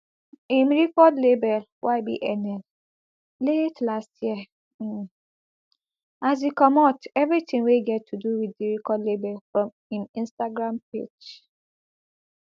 im record label ybnl late last year um as e comot evritin wey get to do wit di record label from im instagram page